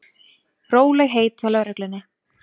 Rólegheit hjá lögreglunni